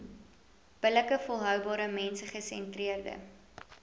billike volhoubare mensgesentreerde